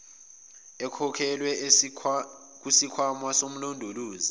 ekhokhelwe kusikhwama somlondolozi